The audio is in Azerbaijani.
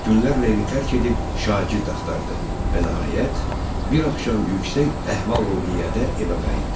Günlərlə evi tərk edib şagird axtardı və nəhayət bir axşam yüksək əhval-ruhiyyədə evə qayıtdı.